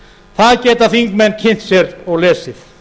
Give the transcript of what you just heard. það geta þingmenn kynnt sér og lesið